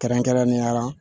Kɛrɛnkɛrɛnnenya la